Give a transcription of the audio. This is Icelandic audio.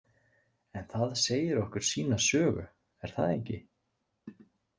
En það segir okkur sína sögu, er það ekki?